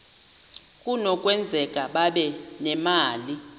kunokwenzeka babe nemali